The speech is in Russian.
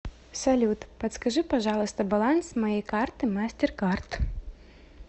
салют подскажи пожалуйста баланс моей карты мастер кард